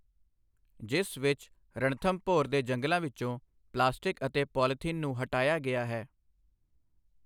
ਜਿਸ ਵਿੱਚ ਰਣਥੰਭੋਰ ਦੇ ਜੰਗਲਾਂ ਵਿੱਚੋਂ ਪਲਾਸਟਿਕ ਅਤੇ ਪੌਲੀਥੀਨ ਨੂੰ ਹਟਾਇਆ ਗਿਆ ਹੈ।